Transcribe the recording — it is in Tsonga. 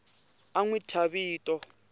a n wi thya vito